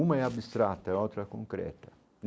Uma é abstrata, a outra concreta.